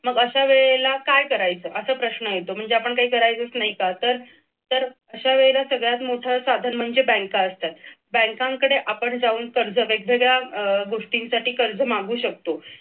मग अश्या वेळेला काय करायचं असं मग अश्या वेळेला काय करायचं असा प्रश्न येतो म्हणजे आपण काय करायचच नाही का तर तर अश्या वेळेला सगळ्यात मोठं साधन म्हणजे बँक असतात बँकांकडे आपण जाऊन कर्ज वैगेरे वेगवेगळ्या गोष्टींसाठी कर्ज मागू शकतो.